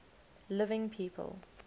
living people